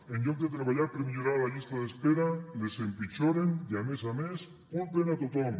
en lloc de treballar per millorar la llista d’espera les empitjoren i a més a més culpen a tothom